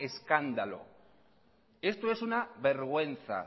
escándalo esto es una vergüenza